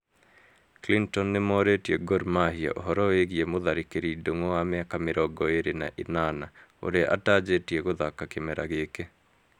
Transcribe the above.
Clinton nĩmorĩtie Gormahia ũhoro wĩgiĩ mũtharĩkĩri Ndun'gu wa mĩaka mĩrongo ĩrĩ na ĩnana ũrĩa atajĩtie gũthaka kĩmera gĩkĩ